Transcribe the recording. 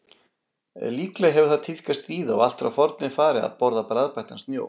Líklega hefur það tíðkast víða og allt frá forni fari að borða bragðbættan snjó.